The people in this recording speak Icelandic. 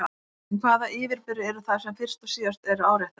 En hvaða yfirburðir eru það sem fyrst og síðast eru áréttaðir?